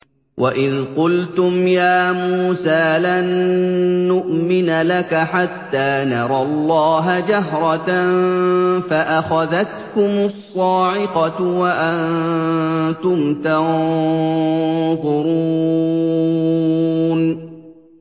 وَإِذْ قُلْتُمْ يَا مُوسَىٰ لَن نُّؤْمِنَ لَكَ حَتَّىٰ نَرَى اللَّهَ جَهْرَةً فَأَخَذَتْكُمُ الصَّاعِقَةُ وَأَنتُمْ تَنظُرُونَ